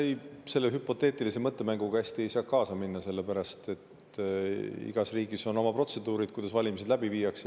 Ei, selle hüpoteetilise mõttemänguga ma hästi ei saa kaasa minna, sellepärast et igas riigis on oma protseduurid, kuidas valimised läbi viiakse.